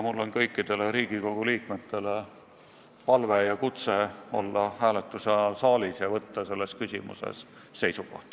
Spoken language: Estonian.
Mul on kõikidele Riigikogu liikmetele palve olla hääletuse ajal saalis ja võtta selles küsimuses seisukoht.